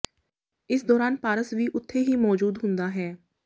ਇਸ ਦੌਰਾਨ ਪਾਰਸ ਵੀ ਉੱਥੇ ਹੀ ਮੌਜੂਦ ਹੁੰਦਾ ਹੈ